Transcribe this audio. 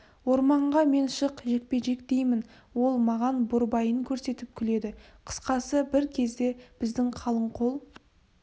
орманға мен шық жекпе-жек деймін ол маған борбайын көрсетіп күледі қысқасы бір кезде біздің қалың қол